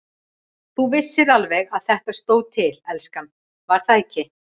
Þú vissir alveg að þetta stóð til, elskan, var það ekki?